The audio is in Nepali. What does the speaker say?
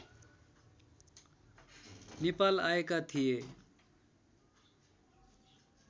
नेपाल आएका थिए